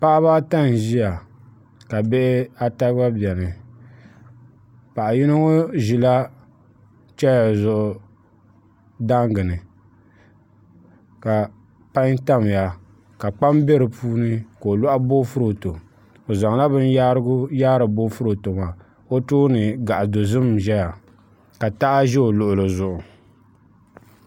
Paɣa baa ata n ʒia ka bihi ata gba bɛni Paɣi yiŋɔ ʒila cheeya zuɣu daan gini ka panyi tamya ka kpam bɛ di puuni ka o lɔhi boofuroto o zanla bin yahiri n yaahi o tooni gaɣi dozim n ʒɛya ka taha ʒɛ ɔ luɣuli zuɣu